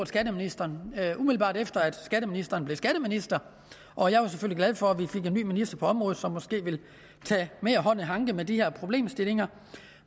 skatteministeren umiddelbart efter at skatteministeren blev skatteminister og jeg var selvfølgelig glad for at vi fik en ny minister på området som måske vil tage mere hånd i hanke med de her problemstillinger